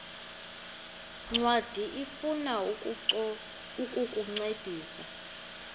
ncwadi ifuna ukukuncedisa